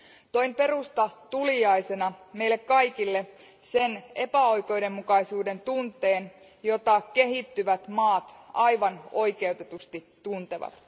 Toin Perusta tuliaisena meille kaikille sen epäoikeudenmukaisuuden tunteen, jota kehittyvät maat aivan oikeutetusti tuntevat.